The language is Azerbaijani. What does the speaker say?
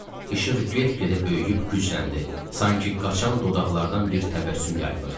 İşıq get-gedə böyüyüb gücləndi, sanki qaşan dodaqlardan bir təbəssüm yayılırdı.